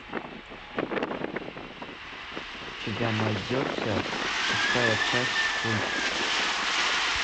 у тебя найдется шестая часть культ